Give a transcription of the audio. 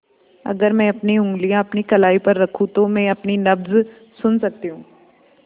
अगर मैं अपनी उंगलियाँ अपनी कलाई पर रखूँ तो मैं अपनी नब्ज़ सुन सकती हूँ